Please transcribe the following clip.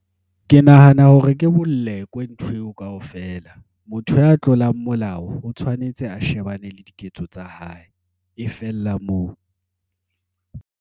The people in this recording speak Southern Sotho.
Ke nahana hore ke bolekwe ntho eo kaofela. Motho ya tlolang molao o tshwanetse a shebane le diketso tsa hae. E fella moo.